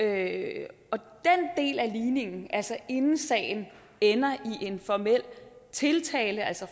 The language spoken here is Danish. af ligningen altså inden sagen ender i en formel tiltale altså